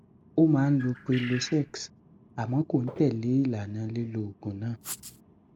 ó máa ń lo prilosex àmọ kò ń tẹlẹ ìlànà lílo oògùn náà